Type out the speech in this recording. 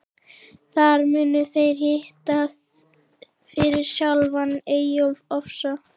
Þar munu þeir hitta fyrir sjálfan Eyjólf ofsa.